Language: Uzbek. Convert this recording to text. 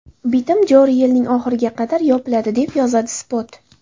Bitim joriy yilning oxiriga qadar yopiladi, deb yozadi Spot.